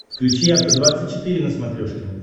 включи афта двадцать четыре на смотрешке